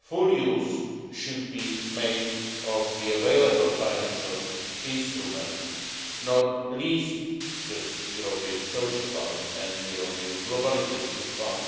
full use should be made of the available financial instruments, not least the European Social Fund and the European Globalisation Fund,